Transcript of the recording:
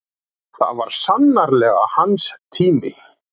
Það var sannarlega hans tími.